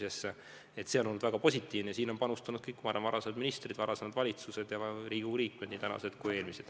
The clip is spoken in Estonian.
See kõik on olnud väga positiivne ja sinna on panustanud ka kõik varasemad ministrid, varasemad valitsused, samuti Riigikogu liikmed, nii praegused kui endised.